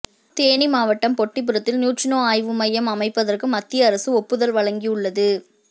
தேனி மாவட்டம் பொட்டிபுரத்தில் நியூட்ரினோ ஆய்வு மையம் அமைப்பதற்கு மத்திய அரசு ஒப்புதல் வழங்கியுள்ளது